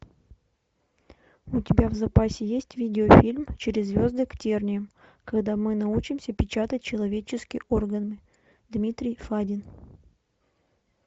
у тебя в запасе есть видеофильм через звезды к терниям когда мы научимся печатать человеческие органы дмитрий фадин